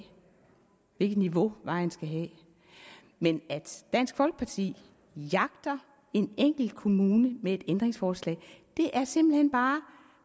hvilket niveau vejen skal have men at dansk folkeparti jagter en enkelt kommune med et ændringsforslag er simpelt hen bare